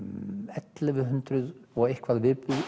ellefu hundruð og eitthvað